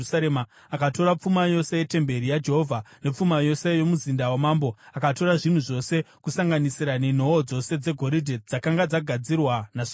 Akatora pfuma yose yetemberi yaJehovha nepfuma yose yomuzinda wamambo. Akatora zvinhu zvose, kusanganisira nenhoo dzose dzegoridhe dzakanga dzagadzirwa naSoromoni.